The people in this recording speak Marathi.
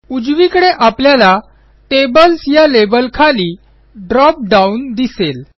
उजवीकडे आपल्याला टेबल्स या लेबलखाली ड्रॉप डाउन दिसेल